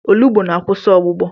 Olugbu na-akwụsị ọgbụgbọ.